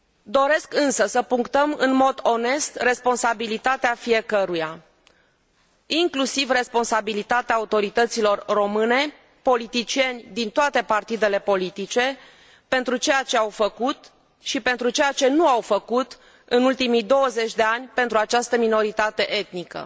Doresc, însă, să punctăm în mod onest responsabilitatea fiecăruia, inclusiv responsabilitatea autorităților române, politicieni din toate partidele politice, pentru ceea ce au făcut și pentru ceea ce nu au făcut în ultimii 20 de ani pentru această minoritate etnică